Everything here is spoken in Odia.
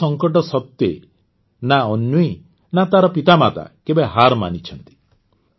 ଏସବୁ ସଙ୍କଟ ସତ୍ୱେ ନା ଅନ୍ୱୀ ନା ତା ମାତାପିତା କେବେ ହାର୍ ମାନିଛନ୍ତି